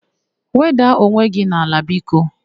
Wedaa onwe gị n'ala biko!